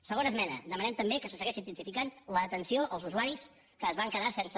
segona esmena demanem també que se segueixi intensificant l’atenció als usuaris que es van quedar sense